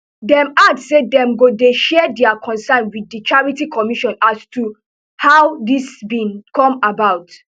dem add say dem go dey share dia concerns wit di charity commission as to how dis bin come about